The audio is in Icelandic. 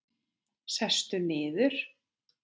Sestu niður.